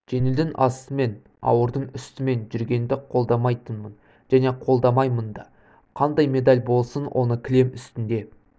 жеңілдің астымен ауырдың үстімен жүргенді қолдамайтынмын және қолдамаймын да қандай медаль болсын оны кілем үстінде